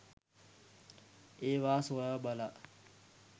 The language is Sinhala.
ඒවා සොයා බලා